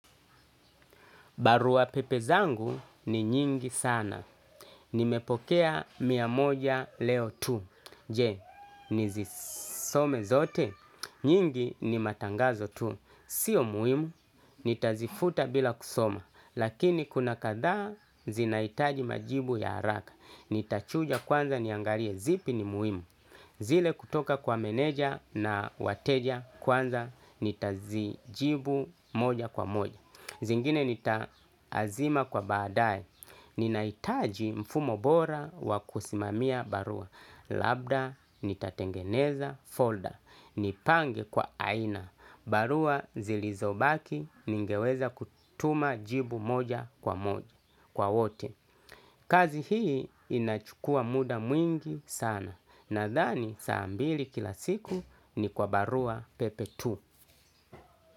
Barua pepe zangu ni nyingi sana. Nimepokea mia moja leo tu. Je, nizisome zote. Nyingi ni matangazo tu. Sio muhimu, nitazifuta bila kusoma. Lakini kuna kathaa zinahitaji majibu ya haraka. Nitachuja kwanza niangalie zipi ni muhimu. Zile kutoka kwa meneja na wateja kwanza nitazijibu moja kwa moja. Zingine nita azima kwa baadae ninahitaji mfumo bora wa kusimamia barua, labda, nitatengeneza, folder, nipange kwa aina, barua zilizobaki, ningeweza kutuma jibu moja kwa moja, kwa wote. Kazi hii inachukua muda mwingi sana, nadhani saa mbili kila siku ni kwa barua pepe tu.